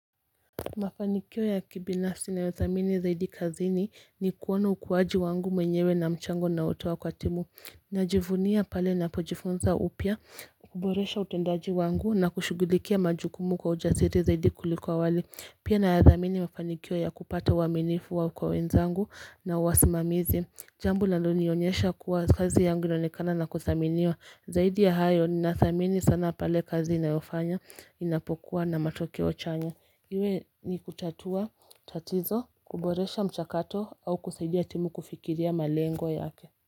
Mafanikio ya kibinafsi na yothamini zaidi kazini ni kuona ukuaji wangu mwenyewe na mchango na otoa kwa timu Najivunia pale na pojifunza upya kuboresha utendaji wangu na kushugulikia majukumu kwa ujasiri zaidi kuliko awali Pia na yathamini mafanikio ya kupata uaminifu wa kwa wenzangu na wasimamizi Jambo linalo nionyesha kuwa kazi yangu inaonekana na kuthaminiwa Zaidi ya hayo ni nathamini sana pale kazi na yofanya inapokuwa na matokeo chanya Iwe ni kutatua tatizo kuboresha mchakato au kusaidia timu kufikiria malengo yake.